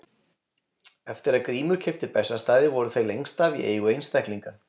Eftir að Grímur keypti Bessastaði voru þeir lengst af í eigu einstaklinga.